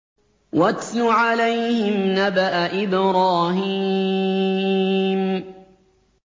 وَاتْلُ عَلَيْهِمْ نَبَأَ إِبْرَاهِيمَ